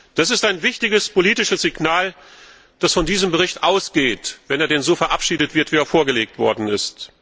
Das ist ein wichtiges politisches Signal, das von diesem Bericht ausgeht, wenn er denn so verabschiedet wird, wie er vorgelegt worden ist.